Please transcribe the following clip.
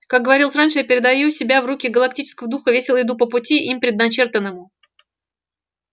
как говорилось раньше я передаю себя в руки галактического духа и весело иду по пути им предначертанному